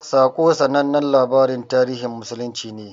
"Saƙo" sanannen labarin tarihin musulunci ne.